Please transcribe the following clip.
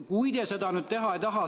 Kui te seda nüüd teha ei taha ...